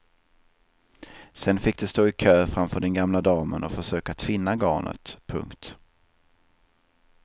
Sen fick de stå i kö framför den gamla damen och försöka tvinna garnet. punkt